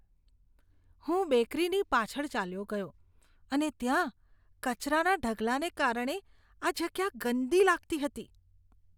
હું બેકરીની પાછળ ચાલ્યો ગયો અને ત્યાં કચરાના ઢગલાને કારણે આ જગ્યા ગંદી લાગતી હતી.